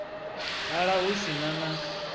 dala hu si na na